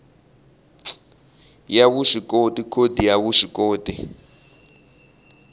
ya vuswikoti khodi ya vuswikoti